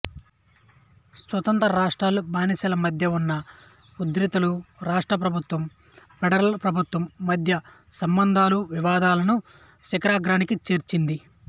స్వతంత్ర రాష్ట్రాలు బానిసల మధ్య ఉన్న ఉద్రిక్తతలు రాష్ట్ర ప్రభుత్వం ఫెడరల్ ప్రభుత్వం మధ్య సంబంధాలు వివాదాలను శిఖరాగ్రానికి చేర్చింది